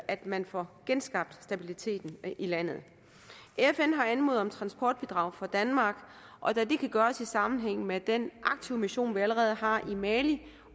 at man får genskabt stabiliteten i landet fn har anmodet om transportbidrag fra danmark og da det kan gøres i sammenhæng med den aktive mission vi allerede har i mali